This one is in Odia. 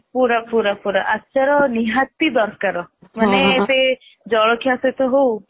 ପୁରା ପୁରା ଆଚାର ନିହାତି ଦରକାର ମାନେ ସେ ଜଳଖିଆ ସହିତ ହଉ